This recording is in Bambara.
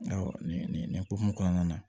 nin nin nin hokumu kɔnɔna na